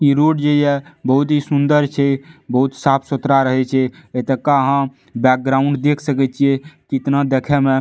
इ रोड जे या बहुत ही सुंदर छै बहुत साफ़-सुथरा रहे छै एतो का आहां बैकग्राउंड देख सके छिये कितना देखे में --